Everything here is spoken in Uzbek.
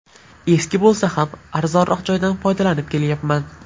Eski bo‘lsa ham arzonroq joydan foydalanib kelayapman.